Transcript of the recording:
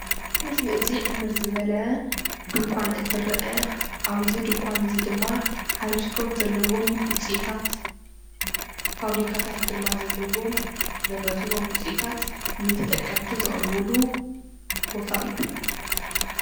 እዚ ምስሊ እዚ ዕምር ዝበለ ድንኳን እንትርአ ኣብዚ ድንኳን እዚ ድማ ሓረስቶት ዘለዉዎም ዉፂኢታት ፋብሪካታት ድማ ዘለዎም ዘምረትዎም ዉጽኢታት ንተጠቀምቲ ዘቕርብሉ ቦታ እዩ።